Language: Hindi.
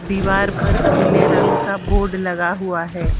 दीवार पर पीले रंग का बोर्ड लगा हुआ है।